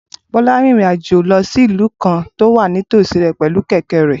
Bola rin ìrìn àjò lọ sí ìlú kan tó wà nítòsí pẹ̀lú kẹ̀kẹ́ rẹ̀